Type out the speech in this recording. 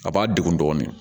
A b'a degun dɔɔni